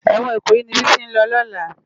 Èwòn Ikoyi ni Bisi n lò lòlá